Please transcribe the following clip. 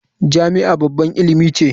Jami'a babbar ilimi ce.